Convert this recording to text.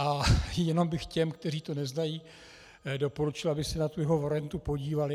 A jenom bych těm, kteří to neznají, doporučil, aby se na tu jeho variantu podívali.